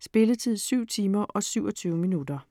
Spilletid: 7 timer, 27 minutter.